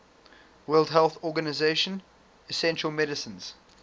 world health organization essential medicines